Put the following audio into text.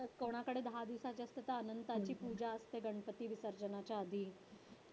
कोणाकडे दहा दिवसाचे असतात अनंताची पूजा असते गणपती विसर्जनाच्या आधी.